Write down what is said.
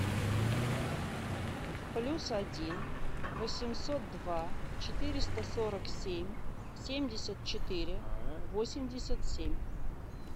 плюс один восемьсот два четыреста сорок семь семьдесят четыре восемьдесят семь